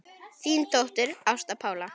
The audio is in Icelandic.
Þín dóttir, Ásta Pála.